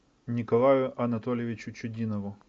николаю анатольевичу чудинову